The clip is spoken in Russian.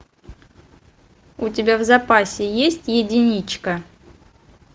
у тебя в запасе есть единичка